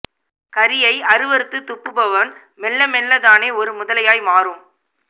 கறியை அருவருத்துத் துப்புபவன் மெல்ல மெல்ல தானே ஒரு முதலையாய் மாறும்